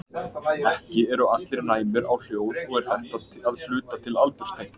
Ekki eru allir jafn næmir á hljóð og er þetta að hluta til aldurstengt.